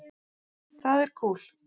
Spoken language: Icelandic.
Það er kúl.